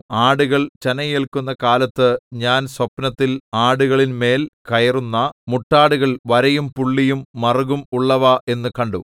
ആടുകൾ ചനയേല്ക്കുന്ന കാലത്ത് ഞാൻ സ്വപ്നത്തിൽ ആടുകളിന്മേൽ കയറുന്ന മുട്ടാടുകൾ വരയും പുള്ളിയും മറുകും ഉള്ളവ എന്നു കണ്ടു